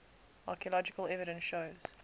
archaeological evidence shows